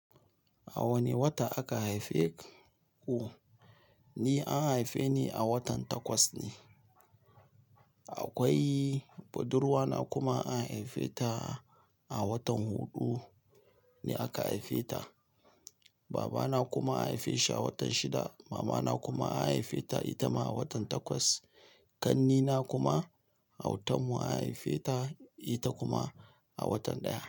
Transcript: A wane wata aka haife ku? Ni an haife ni a watan Takwas ne. Akwai budurwa na kuma an haife ta a watan hudu ne aka haife ta. Babana kuma an haife shi a watan shida. Mama na kuma an haife ta ita ma a watan takwas. Kannina kuma auatan mu an haife ta, ita kuma a watan ɗaya.